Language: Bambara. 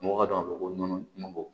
Mɔgɔw ka dɔn ko nɔnɔko